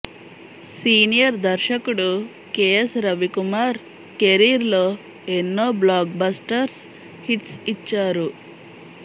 senior దర్శకుడు K S Ravikumar career లో ఎన్నో బ్లాక్ బస్టర్స్ హిట్స్ ఇచ్చారు